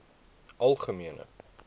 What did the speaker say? algemene